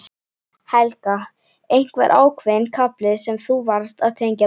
Helga: Einhver ákveðinn kafli sem þú varst að tengja við?